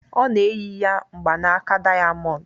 Ọ na-eyi ya mgbanaka dayamondu